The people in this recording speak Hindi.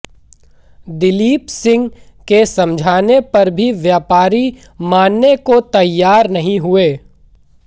दलीप सिंह के समझाने पर भी व्यापारी मानने को तैयार नहीं हुए